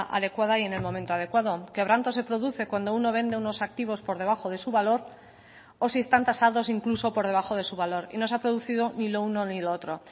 adecuada y en el momento adecuado quebranto se produce cuando uno vende unos activos por debajo de su valor o si están tasados incluso por debajo de su valor y no se ha producido ni lo uno ni lo otro